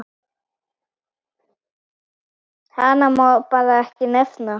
Hana má bara ekki nefna.